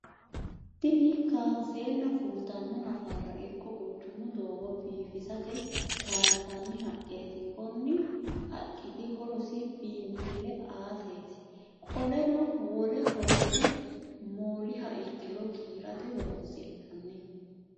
Tinni kaanseenna fultano nafara iko quchumu doogo biifissate kaansanni haqeeti. Konni haqiti horoosi biinfile aateeti. Qoleno wole horosi mooliha ikiro giirate horoonsi'nanni.